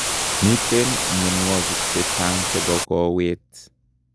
Miten mionwigik chechang chebo kowet